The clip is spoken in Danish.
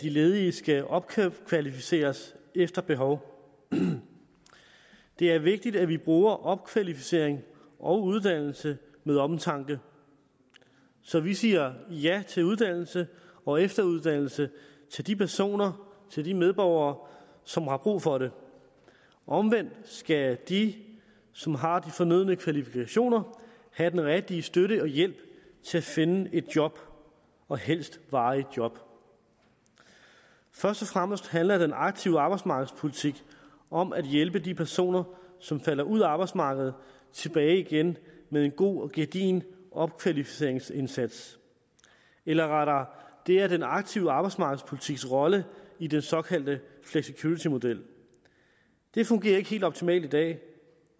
de ledige skal opkvalificeres efter behov det er vigtigt at vi bruger opkvalificering og uddannelse med omtanke så vi siger ja til uddannelse og efteruddannelse til de personer til de medborgere som har brug for det omvendt skal de som har de fornødne kvalifikationer have den rigtige støtte og hjælp til at finde et job og helst et varigt job først og fremmest handler den aktive arbejdsmarkedspolitik om at hjælpe de personer som falder ud af arbejdsmarkedet tilbage igen med en god og gedigen opkvalificeringsindsats eller rettere det er den aktive arbejdsmarkedspolitiks rolle i den såkaldte flexicuritymodel det fungerer ikke helt optimalt i dag